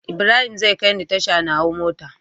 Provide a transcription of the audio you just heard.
Ibrahim zai kai ni tasha na hau mota